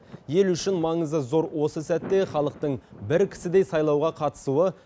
ел үшін маңызы зор осы сәтте халықтың бір кісідей сайлауға қатысуы